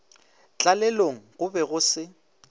tlalelong go be go se